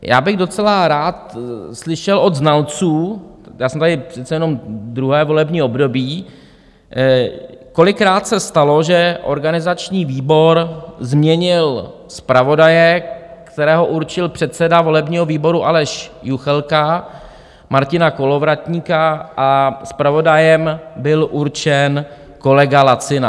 Já bych docela rád slyšel od znalců, já jsem tady přece jenom druhé volební období, kolikrát se stalo, že organizační výbor změnil zpravodaje, kterého určil předseda volebního výboru Aleš Juchelka, Martina Kolovratníka, a zpravodajem byl určen kolega Lacina?